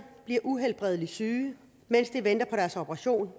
bliver uhelbredeligt syge mens de venter på deres operation